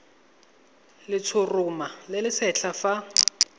letshoroma le le setlha fa